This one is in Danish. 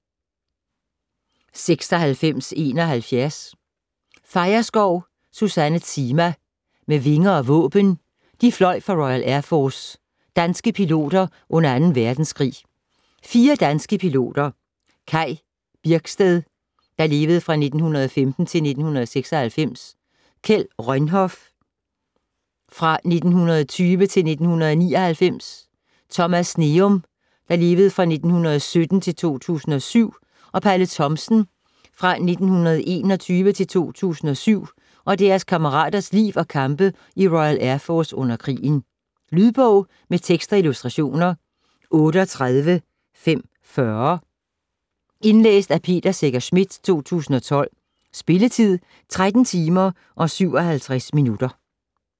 96.71 Feierskov, Susanne Zima: Med vinger og våben: de fløj for Royal Air Force: danske piloter under anden verdenskrig 4 danske piloter, Kaj Birksted (1915-1996), Kjeld Rønhof (1920-1999), Thomas Sneum (1917-2007) og Palle Thomsen (f. 1921-2007), og deres kammeraters liv og kampe i Royal Air Force under krigen. Lydbog med tekst og illustrationer 38540 Indlæst af Peter Secher Schmidt, 2012. Spilletid: 13 timer, 57 minutter.